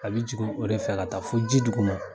A bi jigin o de fɛ ka taa fo ji duguma.